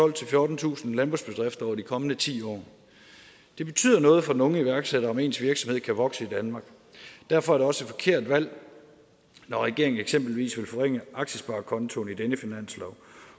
fjortentusind landbrugsbedrifter over de kommende ti år det betyder noget for den unge iværksætter at ens virksomhed kan vokse i danmark derfor er det også et forkert valg når regeringen eksempelvis vil forringe aktiesparekontoen i denne finanslov